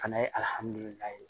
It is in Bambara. Fana ye